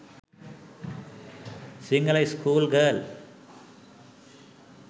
sinhala school girl